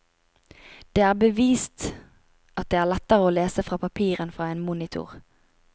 Det er bevist at det er lettere å lese fra papir enn fra en monitor.